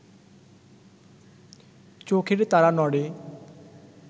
চোখের তারা নড়ে